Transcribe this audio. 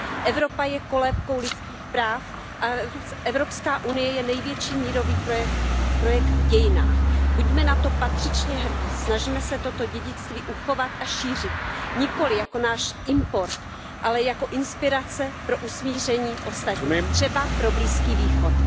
Evropa je kolébkou lidských práv a Evropská unie je největší mírový projekt v dějinách. Buďme na to patřičně hrdí! Snažme se toto dědictví uchovat a šířit, nikoliv jako náš import, ale jako inspiraci pro smíření ostatních, třeba pro Blízký východ.